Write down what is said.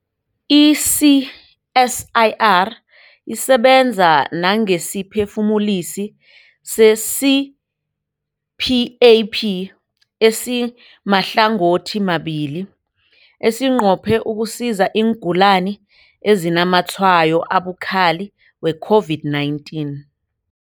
I-CSIR isebenza nangesiphefumulisi se-CPAP esimahlangothimabili esinqophe ukusiza iingulani ezinazamatshwayo abukhali we-COVID-19.